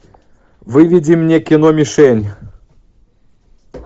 выведи мне кино мишень